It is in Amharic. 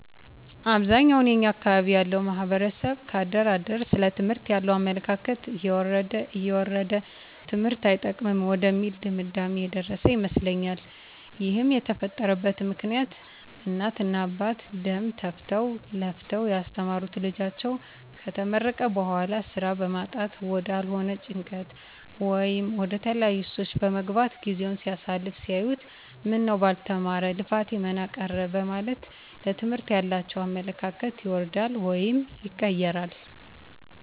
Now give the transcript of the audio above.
አብዛኛውን የኛ አካባቢ ያለው ማህበረሰብ ከአደር አደር ስለ ትምህርት ያለው አመለካከት እየወረደ እየወረደ ትምህርት አይጠቅምም ወደሚል ድምዳሜ የደረሰ ይመስላል ይህም የተፈጠረበት ምክኒያት እናት እና አባት ደም ተፍተው ለፍተው ያስተማሩት ልጃቸው ከተመረቀ በኋላ ስራ በማጣት ወዳልሆነ ጭንቀት ወይም ወደተለያዩ ሱሶች በመግባት ጊዜውን ሲያሳልፍ ሲያዩት ምነው ባልተማረ ልፋቴ መና ቀረ በማለት ለትምህርት ያላቸው አመለካከት ይወርዳል ወይም ይቀየራል